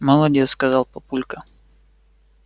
молодец сказал папулька